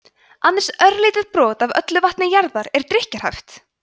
aðeins örlítið brot af öllu vatni jarðar er drykkjarhæft